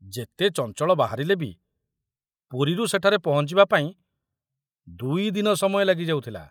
ଯେତେ ଚଞ୍ଚଳ ବାହାରିଲେ ବି ପୁରୀରୁ ସେଠାରେ ପହଞ୍ଚିବା ପାଇଁ ଦୁଇ ଦିନ ସମୟ ଲାଗିଯାଉଥିଲା।